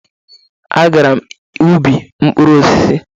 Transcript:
A gara m ubi mkpụrụ osisi.